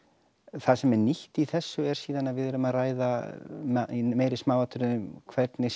það sem er nýtt í þessu eru síðan að við erum að ræða í meiri smáatriðum hvernig